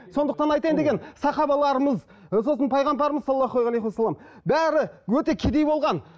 сондықтан айтайын дегенім сахабаларымыз ы сосын пайғамбарымыз саллаллаху алейкумассалам бәрі өте кедей болған